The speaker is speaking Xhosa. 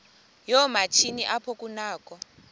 yoomatshini apho kunakho